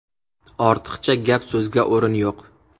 Ortiqcha gap-so‘zga o‘rin yo‘q.